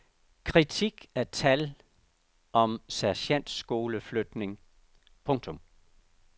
Kritik af tal om sergentskoleflytning. punktum